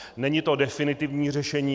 Není to definitivní řešení.